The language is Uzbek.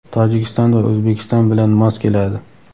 Tojikiston va O‘zbekiston bilan mos keladi.